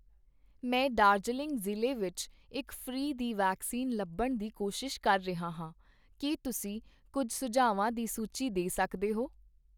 ਮੈਂ ਦਾਰਜੀਲਿੰਗ ਜ਼ਿਲ੍ਹੇ ਵਿੱਚ ਇੱਕ ਫ੍ਰੀ ਦੀ ਵੈਕਸੀਨ ਲੱਭਣ ਦੀ ਕੋਸ਼ਿਸ਼ ਕਰ ਰਿਹਾ ਹਾਂ, ਕੀ ਤੁਸੀਂ ਕੁੱਝ ਸੁਝਾਵਾਂ ਦੀ ਸੂਚੀ ਦੇ ਸਕਦੇ ਹੋ?